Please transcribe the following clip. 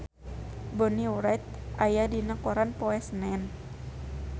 Bonnie Wright aya dina koran poe Senen